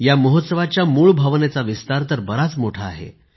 या महोत्सवाच्या मूळ भावनेचा विस्तार तर बराच मोठा आहे